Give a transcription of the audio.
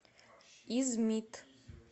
измит